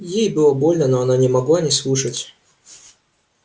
ей было больно но она не могла не слушать